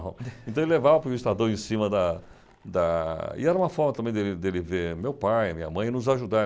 Então ele levava para o vistador em cima da da... E era uma forma também de ele de ele ver meu pai, minha mãe e nos ajudar.